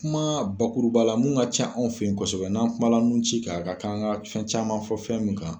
Kuma bakuru ba la mun ka ca anw fɛ kɔsɔbɛ ,n'an kuma la nun ci ka kan an ka fɛn caman fɔ fɛn min kan